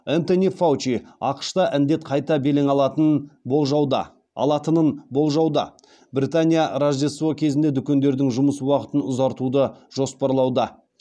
энтони фаучи ақш та індет қайта белең алатын болжауда алатынын болжауда британия рождество кезінде дүкендердің жұмыс уақытын ұзартуды жоспарлауда